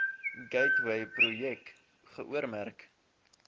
gateway projek geoormerk